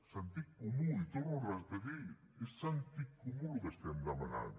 sentit comú ho torno a repetir és sentit comú el que estem demanant